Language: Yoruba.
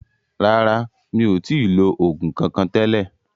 Rárá, mi ò tí lo oògùn kankan tẹ́lẹ̀